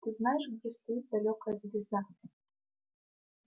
ты знаешь где стоит далёкая звезда